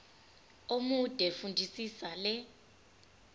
omude fundisisa le